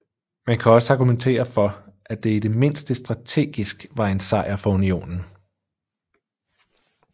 Man kan også argumentere for at det i det mindste strategisk var en sejr for Unionen